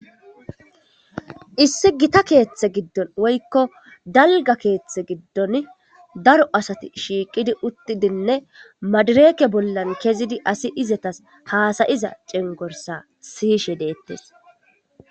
Issi gita keththe giddon woykko dalgga keththe giddon daro asati shiiqqidi uuttidinne madirekke bollan kezidii asi izetas hassayishe diza cengurssa siyishe deettes.